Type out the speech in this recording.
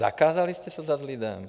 Zakázali jste to dát lidem.